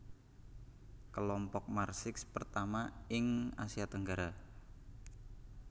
Kelompok Marsix pertama ing Asia Tenggara